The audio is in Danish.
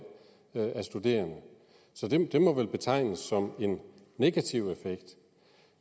af studerende så det må vel betegnes som en negativ effekt